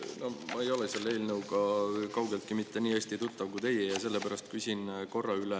No ma ei ole selle eelnõuga kaugeltki mitte nii hästi tuttav kui teie ja sellepärast küsin korra üle.